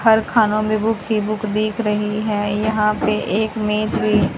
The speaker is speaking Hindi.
हर खानो में बुक ही बुक दिख रही है यहां पे एक मेज भी--